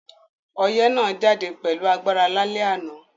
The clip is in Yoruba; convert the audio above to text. Oyẹ́ náà jáde pẹ̀lu agbára lálẹ́ ànán